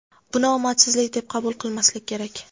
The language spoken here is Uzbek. Buni omadsizlik deb qabul qilmaslik kerak.